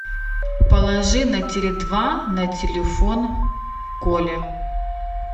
положи на теле два на телефон коле